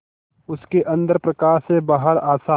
उसके अंदर प्रकाश है बाहर आशा